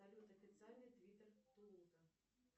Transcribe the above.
салют официальный твиттер тулуза